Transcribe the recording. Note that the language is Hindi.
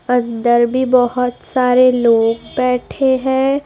अंदर भी बहुत सारे लोग बैठे हैं।